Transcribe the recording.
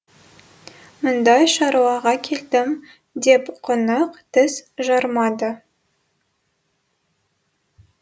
мұндай шаруаға келдім деп қонақ тіс жармады